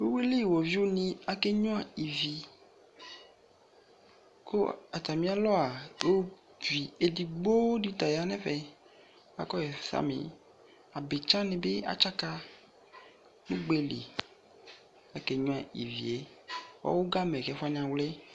Uwili woviu ne ake tsu ivi ko atame alɔa ovi edigbo de ta ya no ɛfɛ akɔ ivisame Abitsa ne be atsaka, Ugbeli ake nyua ivie Ɔwugamɛ ko ɛfo wane awli